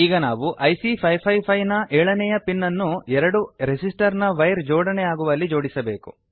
ಈಗ ನಾವು ಐಸಿ 555 ನ ಏಳನೆಯ ಪಿನ್ ಅನ್ನು ಎರಡು ರೆಸಿಸ್ಟರ್ ನ ವೈರ್ ಜೋಡಣೆಯಾಗುವಲ್ಲಿ ಜೋಡಿಸಬೇಕು